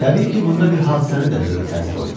Təbii ki, bunda bir hadisənin də böyük təsiri oldu.